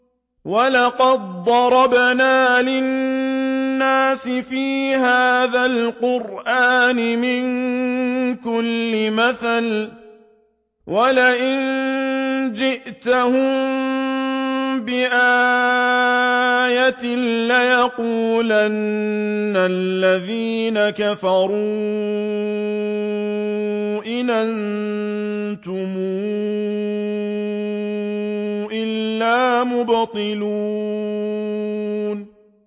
وَلَقَدْ ضَرَبْنَا لِلنَّاسِ فِي هَٰذَا الْقُرْآنِ مِن كُلِّ مَثَلٍ ۚ وَلَئِن جِئْتَهُم بِآيَةٍ لَّيَقُولَنَّ الَّذِينَ كَفَرُوا إِنْ أَنتُمْ إِلَّا مُبْطِلُونَ